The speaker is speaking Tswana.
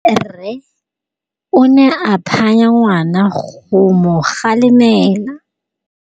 Rre o ne a phanya ngwana go mo galemela.